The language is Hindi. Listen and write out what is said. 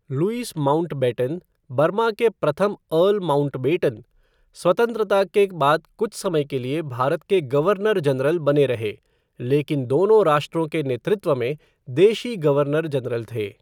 लुईस माउंटबेटन, बर्मा के प्रथम अर्ल माउंटबेटन, स्वतंत्रता के बाद कुछ समय के लिए भारत के गवर्नर जनरल बने रहे, लेकिन दोनों राष्ट्रों के नेतृत्व में देशी गवर्नर जनरल थे।